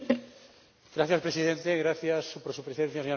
Señor Presidente, gracias por su presencia, señora comisaria.